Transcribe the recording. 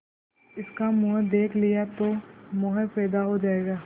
इसका मुंह देख लिया तो मोह पैदा हो जाएगा